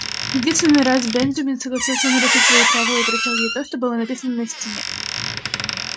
единственный раз бенджамин согласился нарушить свои правила и прочёл ей то что было написано на стене